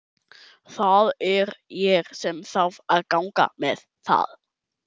Það er ég sem þarf að ganga með það.